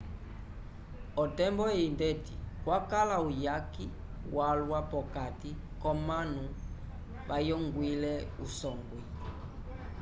otembo eyi ndeti kwakala uyaki walwa p'okati k'omanu vayongwile usongwi